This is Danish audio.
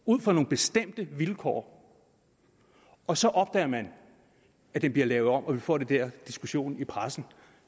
ud fra nogle bestemte vilkår og så opdager man at det bliver lavet om og man får den der diskussion i pressen og